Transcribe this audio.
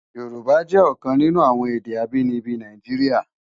Yorùbá jè òkan ninú awòn èdè ábìníbi Náijiriá